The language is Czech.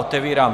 Otevírám